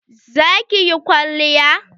Za ki yi kwalliya?